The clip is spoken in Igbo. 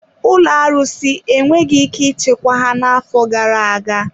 Ụlọ arụsị enweghị ike ichekwa ha n'afọ gara aga.